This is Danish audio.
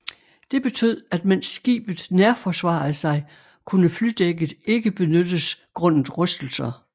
Det betød at mens skibet nærforsvarede sig kunne flydækket ikke benyttes grundet rystelser